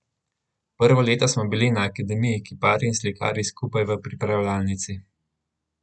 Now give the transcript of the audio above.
Prvo leto smo bili na akademiji kiparji in slikarji skupaj v pripravljalnici.